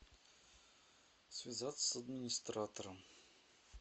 связаться с администратором